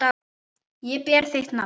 Ég ber þitt nafn.